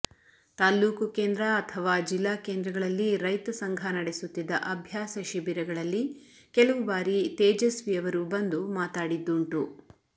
ತಾಲ್ಲೂಕು ಕೇಂದ್ರ ಅಥವಾ ಜಿಲ್ಲಾ ಕೇಂದ್ರಗಳಲ್ಲಿ ರೈತ ಸಂಘ ನಡೆಸುತ್ತಿದ್ದ ಅಭ್ಯಾಸ ಶಿಬಿರಗಳಲ್ಲಿ ಕೆಲವು ಬಾರಿ ತೇಜಸ್ವಿಯವರು ಬಂದು ಮಾತಾಡಿದ್ದುಂಟು